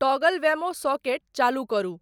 toggle Wemo socket चालू करु